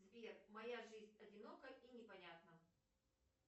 сбер моя жизнь одинока и непонятна